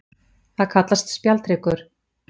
Það kallast spjaldhryggur.